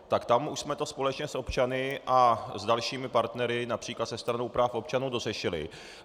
Tak tam už jsme to společně s občany a s dalšími partnery, například se Stranou práv občanů, dořešili.